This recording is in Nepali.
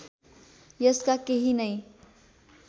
यसका केही नै